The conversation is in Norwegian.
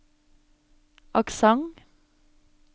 aksent